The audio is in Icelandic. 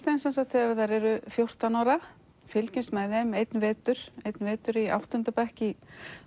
þeim þegar þær eru fjórtán ára fylgjumst með þeim einn vetur einn vetur í áttunda bekk í